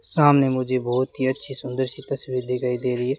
सामने मुझे बहुत ही अच्छी सुंदर सी तस्वीर दिखाई दे रही है।